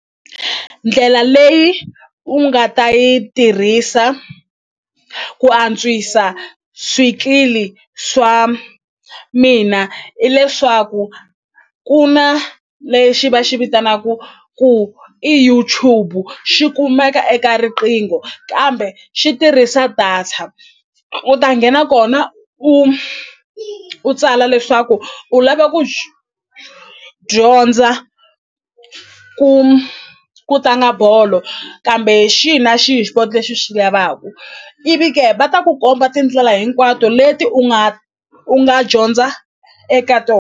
Ndlela leyi u nga ta yi tirhisa ku antswisa swikili swa mina i leswaku ku na lexi va xi vitanaku ku i YouTube xi kumeka eka riqingho kambe xi tirhisa data u ta nghena kona u u tsala leswaku u lava ku dyondza ku ku tlanga bolo kambe xihi na xihi lexi u xi lavaku ivi ke va ta ku komba tindlela hinkwato leti u nga u nga dyondza eka .